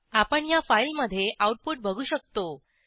आपण ह्या फाईलमधे आऊटपुट बघू शकतो